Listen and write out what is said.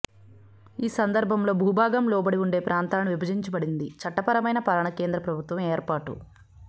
ఈ సందర్భంలో భూభాగం లోబడి ఉండే ప్రాంతాలను విభజించబడింది చట్టపరమైన పాలన కేంద్ర ప్రభుత్వం ఏర్పాటు